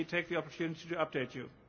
Let me take the opportunity to update